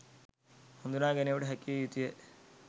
හඳුනා ගැනීමට හැකිවිය යුතුයි.